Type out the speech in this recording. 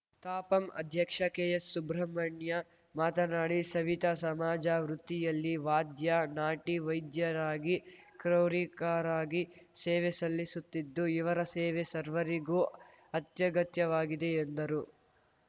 ತಾಪಂ ಅಧ್ಯಕ್ಷ ಕೆಎಸ್‌ ಸುಬ್ರಹ್ಮಣ್ಯ ಮಾತನಾಡಿ ಸವಿತಾ ಸಮಾಜ ವೃತ್ತಿಯಲ್ಲಿ ವಾದ್ಯ ನಾಟಿ ವೈದ್ಯರಾಗಿ ಕ್ರೌರಿಕರಾಗಿ ಸೇವೆ ಸಲ್ಲಿಸುತ್ತಿದ್ದು ಇವರ ಸೇವೆ ಸರ್ವರಿಗೂ ಅತ್ಯಗತ್ಯವಾಗಿದೆ ಎಂದರು